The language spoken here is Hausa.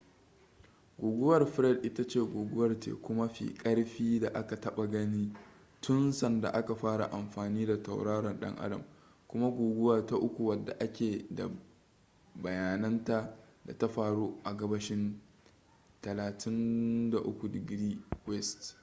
guguwar fred ita ce guguwar teku mafi karfi da aka taba gani tun sanda aka fara amfani da tauraron dan adam kuma guguwa ta uku wadda ake da bayananta da ta faru a gabashin 35°w